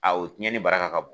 o tiɲɛni baraka ka bon.